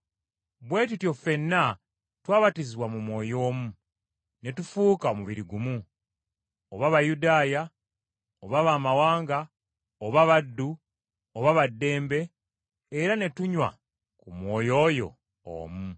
Bwe tutyo ffenna twabatizibwa mu Mwoyo omu, ne tufuuka omubiri gumu, oba Bayudaaya, oba baamawanga, oba baddu, oba ba ddembe, era ne tunywa ku Mwoyo oyo omu.